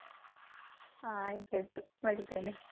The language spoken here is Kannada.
ಹಾ ಆಯ್ತಾಯ್ತು ಬಡಿತೇನೆ.